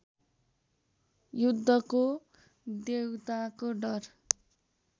युद्धको देउताको डर